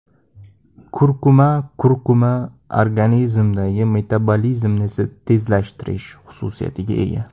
Kurkuma Kurkuma organizmdagi metabolizmni tezlashtirish xususiyatiga ega.